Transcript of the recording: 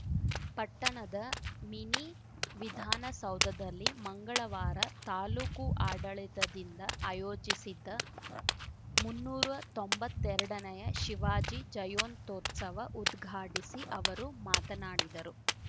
ಪಟ್ಟಣದ ಮಿನಿ ವಿಧಾನಸೌಧದಲ್ಲಿ ಮಂಗಳವಾರ ತಾಲೂಕು ಆಡಳಿತದಿಂದ ಆಯೋಜಿಸಿದ್ದ ಮುನ್ನೂರು ತೊಂಬತ್ತೆರಡನೇಯ ಶಿವಾಜಿ ಜಯಂತ್ಯೋತ್ಸವ ಉದ್ಘಾಟಿಸಿ ಅವರು ಮಾತನಾಡಿದರು